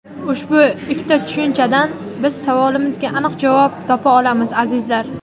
Ushbu ikkita tushunchadan biz savolimizga aniq javob topa olamiz, azizlar.